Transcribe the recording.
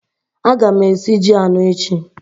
Aga m esi ji anọ echi